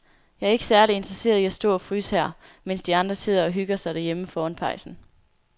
Jeg er ikke særlig interesseret i at stå og fryse her, mens de andre sidder og hygger sig derhjemme foran pejsen.